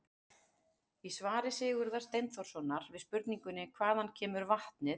Í svari Sigurðar Steinþórssonar við spurningunni: Hvaðan kemur vatnið?